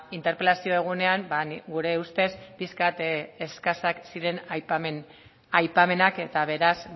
interpelazio egunean ba gure ustez pixka bat eskasak ziren aipamenak eta beraz